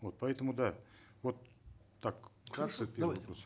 вот поэтому да вот так хорошо давай